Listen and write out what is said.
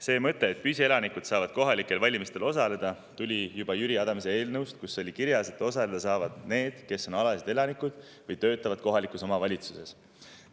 See mõte, et püsielanikud saavad kohalikel valimistel osaleda, tuli juba Jüri Adamsi eelnõust, kus oli kirjas, et osaleda saavad need, kes on alalised elanikud või töötavad kohalikus omavalitsuses.